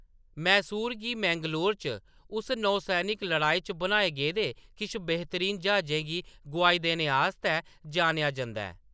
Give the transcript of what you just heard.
मैसूर गी मैंगलोर च उस नौसैनिक लड़ाई च बनाए गेदे किश बेहतरीन ज्हाजें गी गोआई देने आस्तै जानेआ जंदा ऐ।